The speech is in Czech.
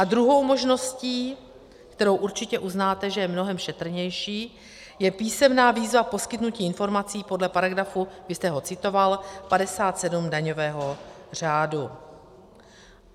A druhou možností, kterou určitě uznáte, že je mnohem šetrnější, je písemná výzva poskytnutí informací podle paragrafu, vy jste ho citoval, 57 daňového řádu.